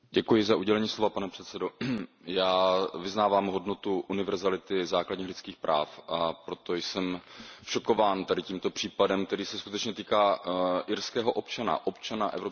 Pane předsedající, já vyznávám hodnotu univerzality základních lidských práv, a proto jsem šokován tímto případem, který se skutečně týká irského občana, občana Evropské unie.